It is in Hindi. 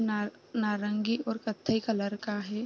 ना नारंगी और कत्थई कलर का है।